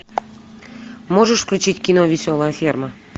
можешь включить кино веселая ферма